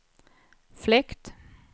fläkt